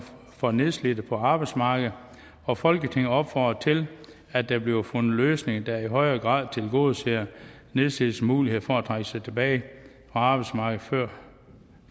for nedslidte på arbejdsmarkedet og folketinget opfordrer til at der bliver fundet løsninger der i højere grad tilgodeser nedslidtes muligheder for at trække sig tilbage fra arbejdsmarkedet før